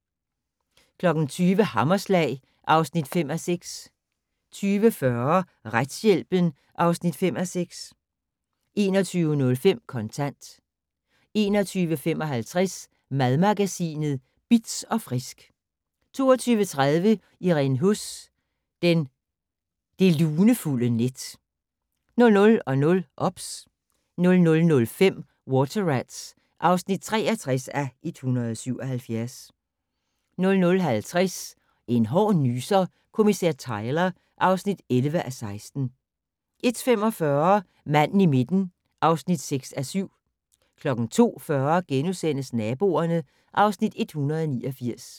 20:00: Hammerslag (5:6) 20:40: Retshjælpen (5:6) 21:05: Kontant 21:55: Madmagasinet Bitz & Frisk 22:30: Irene Huss: Det lunefulde net 00:00: OBS 00:05: Water Rats (63:177) 00:50: En hård nyser: Kommissær Tyler (11:16) 01:45: Manden i midten (6:7) 02:40: Naboerne (Afs. 189)*